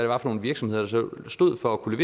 var for virksomheder der så stod for at kunne